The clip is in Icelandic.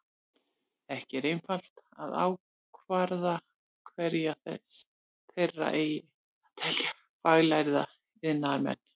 Ekki er einfalt að ákvarða hverja þeirra eigi að telja faglærða iðnaðarmenn.